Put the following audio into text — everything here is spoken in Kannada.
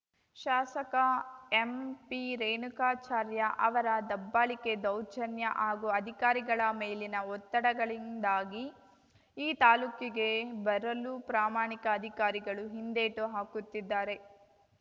ಶಾಸಕ ಎಂಪಿರೇಣುಕಾಚಾರ್ಯ ಅವರ ದಬ್ಬಾಳಿಕೆ ದೌರ್ಜನ್ಯ ಹಾಗೂ ಅಧಿಕಾರಿಗಳ ಮೇಲಿನ ಒತ್ತಡಗಳಿಂದಾಗಿ ಈ ತಾಲೂಕಿಗೆ ಬರಲು ಪ್ರಾಮಾಣಿಕ ಅಧಿಕಾರಿಗಳು ಹಿಂದೇಟು ಹಾಕುತ್ತಿದ್ದಾರೆ